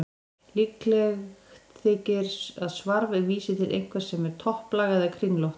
Líklegt þykir að svarf vísi til einhvers sem er topplaga eða kringlótt.